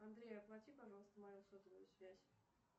андрей оплати пожалуйста мою сотовую связь